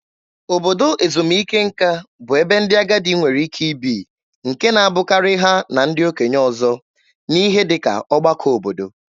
Obodo ezumike nka bụ ebe ndị agadi nwere ike ibi, nke na-abụkarị ha na ndị okenye ọzọ, n'ihe dị ka ọgbakọ obodo.